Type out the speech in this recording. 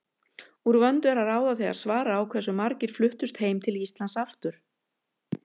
Úr vöndu er að ráða þegar svara á hversu margir fluttust heim til Íslands aftur.